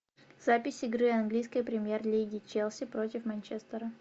запись игры английской премьер лиги челси против манчестера